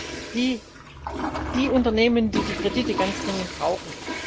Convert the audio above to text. Das sind ja die Unternehmen, die die Kredite ganz dringend brauchen.